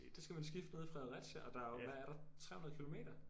Der skal man skifte nede i Fredericia og der jo hvad er der 300 kilometer?